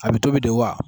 A bɛ tobi de wa